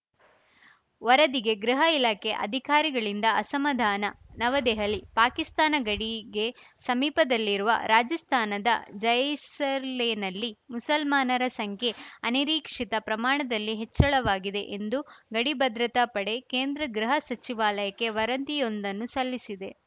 ವರದಿಗೆ ಗೃಹ ಇಲಾಖೆ ಅಧಿಕಾರಿಗಳಿಂದ ಅಸಮಾಧಾನ ನವದೆಹಲಿ ಪಾಕಿಸ್ತಾನ ಗಡಿಗೆ ಸಮೀಪದಲ್ಲಿರುವ ರಾಜಸ್ಥಾನದ ಜೈಸರ್ಲೆನಲ್ಲಿ ಮುಸಲ್ಮಾನರ ಸಂಖ್ಯೆ ಅನಿರೀಕ್ಷಿತ ಪ್ರಮಾಣದಲ್ಲಿ ಹೆಚ್ಚಳವಾಗಿದೆ ಎಂದು ಗಡಿ ಭದ್ರತಾ ಪಡೆ ಕೇಂದ್ರ ಗೃಹ ಸಚಿವಾಲಯಕ್ಕೆ ವರದಿಯೊಂದನ್ನು ಸಲ್ಲಿಸಿದೆ